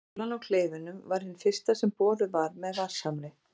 Holan á Kleifunum var hin fyrsta sem boruð var með vatnshamri.